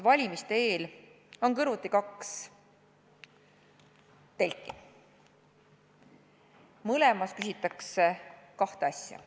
Valimiste eel on kõrvuti kaks telki, mõlemas küsitakse kahte asja.